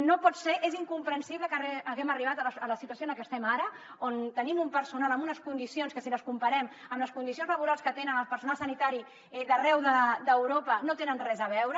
no pot ser és incomprensible que haguem arribat a la situació en la que estem ara on tenim un personal amb unes condicions que si les comparem amb les condicions laborals que té el personal sanitari d’arreu d’europa no tenen res a veure